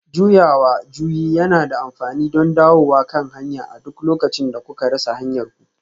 Juyawa juyi yana da amfani don dawowa kan hanya a duk lokacin da kuka rasa hanyarku